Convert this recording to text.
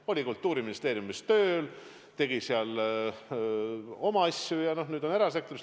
Ta oli Kultuuriministeeriumis tööl, tegi seal oma tööd ja nüüd on erasektoris.